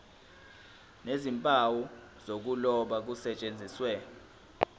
nezimpawu zokuloba kusetshenziswe